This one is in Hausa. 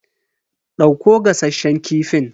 Dauko gasasshen kifin.